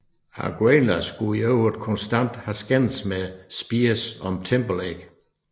Aguilera skulle i øvrigt konstant have skændtes med Spears om Timberlake